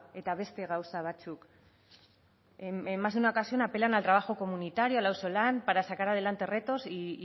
eta beste gauza batzuk en más de una ocasión apelan al trabajo comunitario al auzolana para sacar adelante retos y